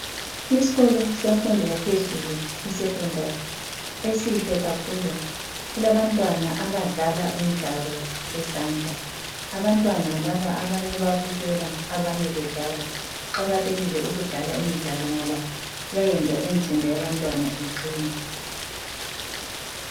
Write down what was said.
Isikolo semfundo yaphezulu iSecondary esihle kakhulu. Kulabantwana abadlala imidlalo yezandla. Abantwana laba abanye bayabukela abanye bedlala. Kuqakathekile ukudlala imidlalo ngoba iyayenza imizimba yabantwana iqine.